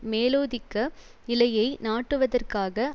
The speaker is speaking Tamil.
மேலோதிக்க நிலையை நாட்டுவதற்காக